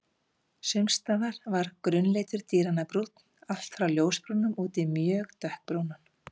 Sums staðar var grunnlitur dýranna brúnn, allt frá ljósbrúnum út í mjög dökkbrúnan.